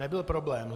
Nebyl problém.